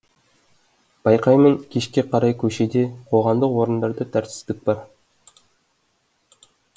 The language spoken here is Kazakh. байқаймын кешке қарай көшеде қоғамдық орындарда тәртіпсіздік бар